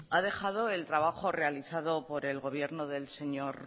ha dejado el trabajo realizado por el gobierno del señor